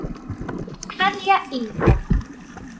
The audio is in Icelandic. Kveðja, Inga.